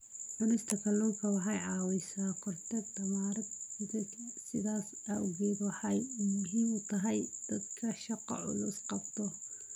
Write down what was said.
Cunista kalluunku waxa ay caawisaa korodhka tamarta jidhka, sidaas awgeed waxa ay muhiim u tahay dadka shaqo culus qabta.